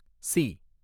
C